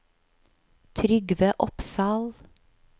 Trygve Opsahl